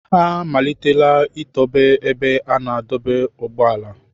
Ha amalitela itobe ebe a na-adọba ụgbọala.